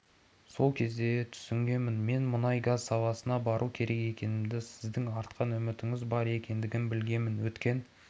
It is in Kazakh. сол кезде түсінгенмін мен мұнай-газ саласына бару керек екенімді сіздің артқан үмітіңіз бар екендігін білгенмін өткен